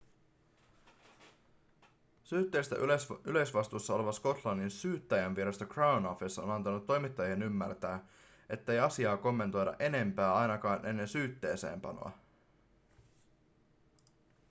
syytteistä yleisvastuussa oleva skotlannin syyttäjänvirasto crown office on antanut toimittajien ymmärtää ettei asiaa kommentoida enempää ainakaan ennen syytteeseenpanoa